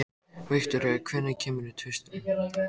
Viktoria, hvenær kemur tvisturinn?